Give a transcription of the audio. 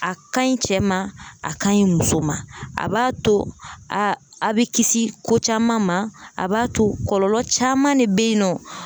A ka ɲi cɛ ma a , ka ɲi muso ma ,a b'a to a bɛ kisi , a bɛ kisi ko caman ma, a b'a to kɔlɔlɔ caman de bɛ yen nɔ.